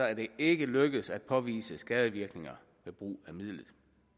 er det ikke lykkedes at påvise skadevirkninger ved brug af midlet